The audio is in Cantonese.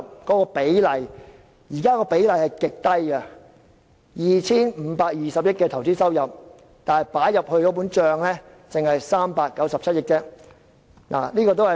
現時相關比例極低，在 2,520 億元的投資收入中，只有397億元撥入政府帳目。